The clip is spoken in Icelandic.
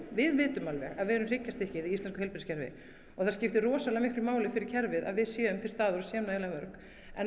við vitum alveg að við erum hryggjarstykkið í íslensku heilbrigðiskerfi það skiptir rosalega miklu máli fyrir kerfið að við séum til staðar og séum nægilega örugg